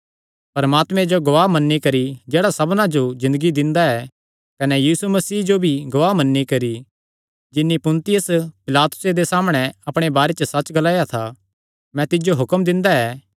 परमात्मे जो गवाह मन्नी करी जेह्ड़ा सबना जो ज़िन्दगी दिंदा ऐ कने यीशु मसीह जो भी गवाह मन्नी करी जिन्नी पुन्तियुस पिलातुसे दे सामणै अपणे बारे च सच्च ग्लाया था मैं तिज्जो हुक्म दिंदा ऐ